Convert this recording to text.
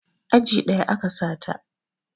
Aji ɗaya a ka sa ta